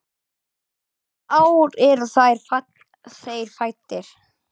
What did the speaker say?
Hvaða ár eru þeir fæddir?